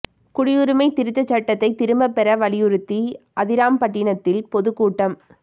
குடியுரிமை திருத்தச் சட்டத்தை திரும்பப் பெற வலியுறுத்தி அதிராம்பட்டினத்தில் பொதுக்கூட்டம்